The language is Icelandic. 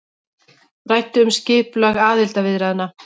Ræddu um skipulag aðildarviðræðna